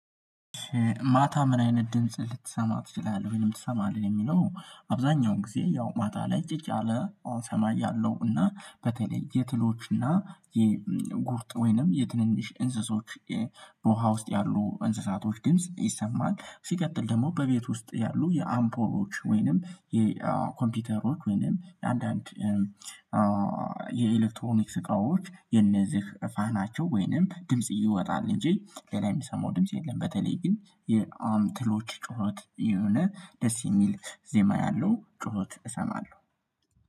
ማታ ምን አይነት ድምጽ ልትሰማ ትችላለህ ወይንም ትሰማለህ የሚለው? አብዛኛው ጊዜ ያው ማታ ላይ ጭጭ አለ ሰማይ አለው እና በተለይ የትሎች እና የጉርጥ ወይንም የትንንሽ እንስሶች በውሃ ውስጥ ያሉ እንስሳቶች ድምጽ ይሰማል። ሲቀጥል ደግሞ በቤት ውስጥ ያሉ የአምፖሮች ወይንም የኮምፒውተሮች ወይንም አንዳንድ የኤሌክትሮኒክስ እቃዎች የነዚህ ፋናቸው ወይንም ድምጽ ይወጣል እንጂ ሌላ የሚሰማው ድምጽ የለም። በተለይ ግን የአም ትሎች ጩኸት የሆነ ደስ የሚል ዜማ ያለው ጩኸት እሰማለሁ